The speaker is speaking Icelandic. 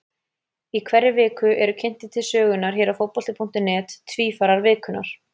Í hverri viku eru kynntir til sögunnar hér á Fótbolti.net Tvífarar vikunnar.